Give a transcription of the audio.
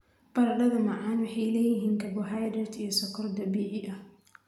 Baradhada macaan waxay leeyihiin karbohaydrayt iyo sonkor dabiici ah.